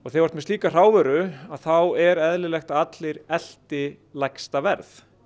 þú ert með slíka hrávöru þá er eðlilegt að allir elti lægsta verð